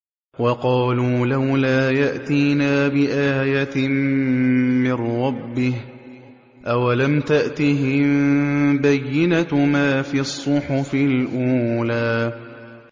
وَقَالُوا لَوْلَا يَأْتِينَا بِآيَةٍ مِّن رَّبِّهِ ۚ أَوَلَمْ تَأْتِهِم بَيِّنَةُ مَا فِي الصُّحُفِ الْأُولَىٰ